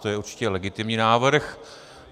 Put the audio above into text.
To je určitě legitimní návrh.